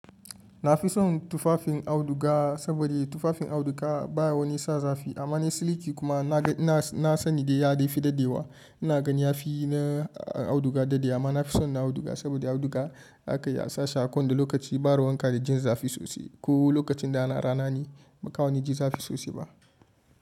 Na fi son tufafin auduga saboda tufafin auduga baya wani sa zafi amma na siliki kuma na gan na sani dai ya dai fi daddewa. Ina ganin yafi na auduga daddewa amma nafi son na auduga saboda auduga za ka iya sashi a ko wanda lokaci ba ruwanka da jin zafi sosai. Ko lokacin da a na rana ne ba ka wani ji zafi sosai ba.